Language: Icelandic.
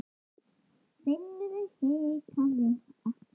Finnur hikaði ekki.